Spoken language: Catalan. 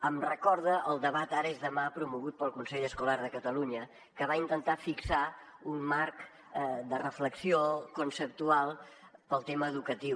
em recorda al debat ara és demà promogut pel consell escolar de catalunya que va intentar fixar un marc de reflexió conceptual per al tema educatiu